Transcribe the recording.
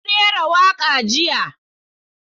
Na rera waka jiya.